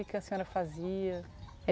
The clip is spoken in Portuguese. O que que a senhora fazia?